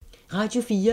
Radio 4